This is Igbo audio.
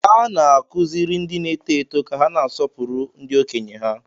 Ana-akụziri ndị n'eto eto ka ha na-asọpụrụ ndị okenye ha